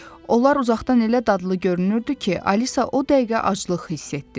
Onlar uzaqdan elə dadlı görünürdü ki, Alisa o dəqiqə aclıq hiss etdi.